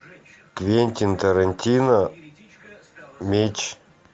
квентин тарантино меч